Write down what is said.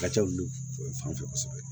Ka ca lu fana fɛ kosɛbɛ